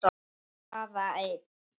Bara einn.